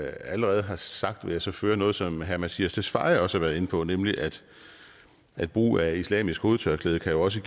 allerede har sagt vil jeg så føje noget som herre mattias tesfaye også var inde på nemlig at at brug af islamisk hovedtørklæde også